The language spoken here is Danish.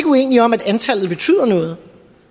uenige om at antallet betyder noget